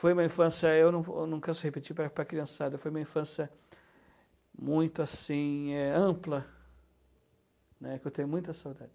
Foi uma infância, eu não eu não canso de repetir para para a criançada, foi uma infância muito assim, é, ampla, né, que eu tenho muita saudade.